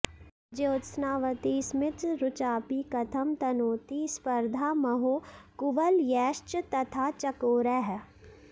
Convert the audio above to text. ज्योत्स्नावती स्मितरुचापि कथं तनोति स्पर्धामहो कुवलयैश्च तथा चकोरैः